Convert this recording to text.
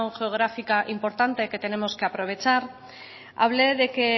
geográfica importante que tenemos que aprovechar hable de que